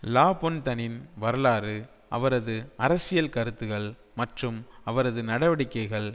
லாபொன்தனின் வரலாறு அவரது அரசியல் கருத்துகள் மற்றும் அவரது நடவடிக்கைகள்